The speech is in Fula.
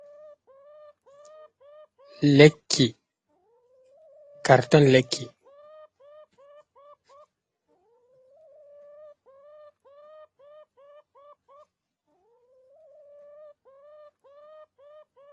Lekki carton lekki.